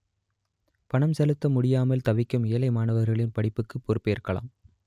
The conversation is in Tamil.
பணம் செலுத்த முடியாமல் தவிக்கும் ஏழை மாணவர்களின் படிப்புக்கு பொறுப்பேற்கலாம்